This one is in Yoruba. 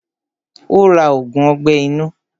Ó ra ògùn ọgbẹ́ inú.